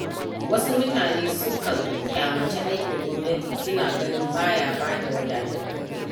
Wasu mutane sukan ƙyamaci aikin gwamnati, suna ganin ba ya bada wadatattun kuɗi.